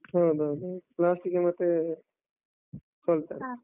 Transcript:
ಹೌದ್ ಹೌದ್ ಹೌದ್, last ಗೆ ಮತ್ತೇ ಸೋಲ್ತಾರೆ.